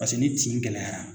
Paseke ni tiin gɛlɛyara!